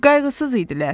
Qayğısız idilər.